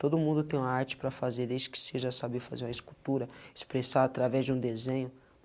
Todo mundo tem uma arte para fazer, desde que seja saber fazer uma escultura, expressar através de um desenho.